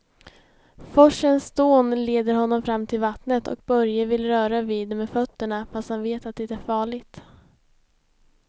Forsens dån leder honom fram till vattnet och Börje vill röra vid det med fötterna, fast han vet att det är farligt.